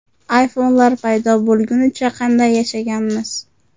iPhone’lar paydo bo‘lgunicha qanday yashaganmiz?